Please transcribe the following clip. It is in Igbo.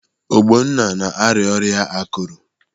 Ogbonna na-arịa ọrịa akụrụ.